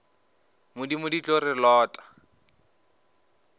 modimo di tlo re lota